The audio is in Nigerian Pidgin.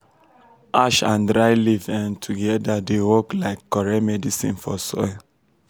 ash and dry leaf um together um dey work like correct medicine for soil.